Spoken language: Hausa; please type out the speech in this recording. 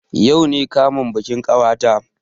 Yau ne kamun bikin ƙawata